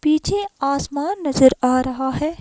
पीछे आसमान नजर आ रहा है।